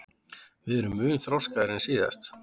Við erum mun þroskaðri en síðast